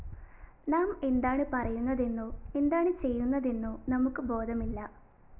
നാം എന്താണു പറയുന്നതെന്നോ എന്താണു ചെയ്യുന്നതെന്നോ നമുക്കു ബോധമില്ല